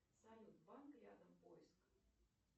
салют банк рядом поиск